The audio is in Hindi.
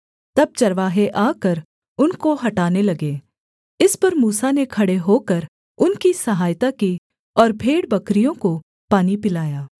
तब चरवाहे आकर उनको हटाने लगे इस पर मूसा ने खड़े होकर उनकी सहायता की और भेड़बकरियों को पानी पिलाया